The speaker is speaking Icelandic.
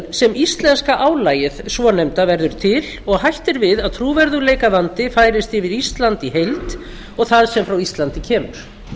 sem íslenska álagið svonefnda verður til og hætt er við að trúverðugleikavandi færist yfir ísland í heild og það sem frá íslandi kemur